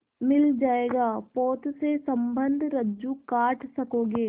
मिल जाएगा पोत से संबद्ध रज्जु काट सकोगे